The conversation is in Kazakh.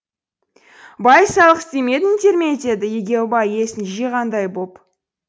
бай салық істемедіңдер ме деді егеубай есін жиғандай боп